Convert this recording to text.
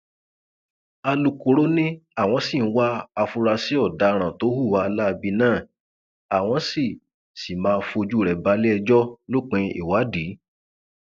alūkkóró ni àwọn sì ń wá àfúnráṣí ọdaràn tó hùwà láabi náà àwọn sì sì máa fojú rẹ balẹẹjọ lópin ìwádìí